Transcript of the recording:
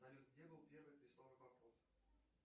салют где был первый крестовый поход